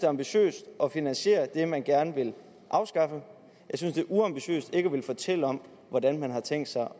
ambitiøst at finansiere det man gerne vil afskaffe jeg synes det er uambitiøst ikke at ville fortælle om hvordan man har tænkt sig